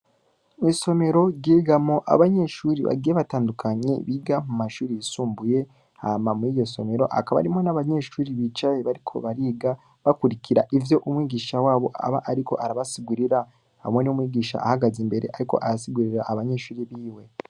Isomero ryigamwo abanyeshure bagiye batandukanye biga mu mashure yisumbuye, hama muri iryo somero hakaba harimwo abanyeshure bicaye bariko bariga, bakurikira ivyo umwigisha wabo aba ariko arabasigurira, hamwe n'umwigisha ahagaze imbere, ariko arasigurira abanyeshure biwe.